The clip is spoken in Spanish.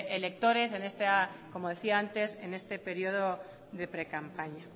electores en esta como decía antes en este período de pre campaña